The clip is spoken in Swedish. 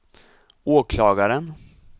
åklagaren